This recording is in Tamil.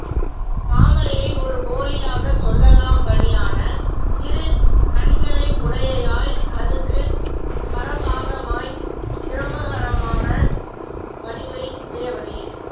தாமரையை ஒரு போலியாகச் சொல்லலாம் படி யான திருக் கண்களை உடையையாய் அதுக்கு பரபாகமாய் சிரமஹரமான வடிவை உடையவனே